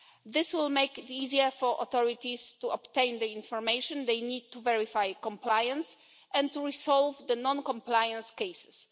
This will make it easier for authorities to obtain the information they need to verify compliance and to resolve non compliance cases.